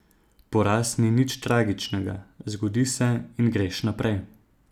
Poraz ni nič tragičnega, zgodi se in greš naprej.